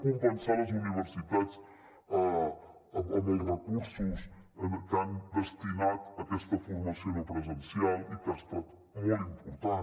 compensar les universitats amb els recursos que han destinat a aquesta formació no presencial que ha estat molt important